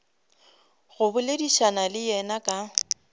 go boledišana le yena ka